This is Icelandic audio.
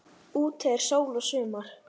Úti er sól og sumar.